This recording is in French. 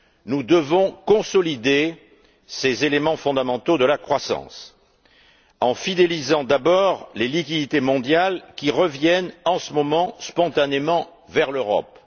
Nous devons consolider ces éléments fondamentaux de la croissance en fidélisant d'abord les liquidités mondiales qui reviennent en ce moment spontanément vers l'Europe.